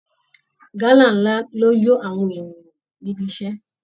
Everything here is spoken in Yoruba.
Gálà ńlá ló yó àwọn ènìyàn níbi iṣẹ́